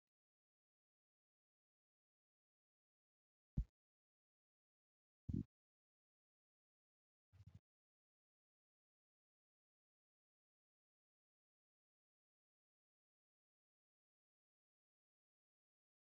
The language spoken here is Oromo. Amantaa kiristaanaa keessatti dura bu'uun amantaa sana namoota kan barsiisan akkasumas fakkeenya kan namaaf ta'anidha. Keessattuu amantaa kaatolikii keessatti namoonni moloksee jedhaman uummataan akka kennaa isaaniitti kan muudamanii fi uummata gaggeessanidha.